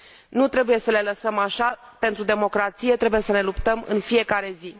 Nu trebuie să le lăsăm așa pentru democrație trebuie să ne luptăm în fiecare zi.